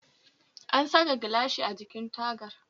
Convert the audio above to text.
An saka gilashi a jikin tagar